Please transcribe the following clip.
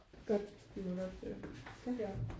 Godt jamen godt